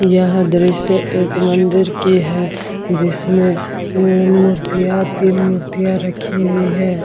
यह दृश्य एक मंदिर की है जिसमे मूर्तियां तीन मूर्तियां रखी हुई हैं ।